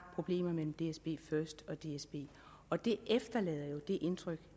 problemer mellem dsbfirst og dsb og det efterlader jo det indtryk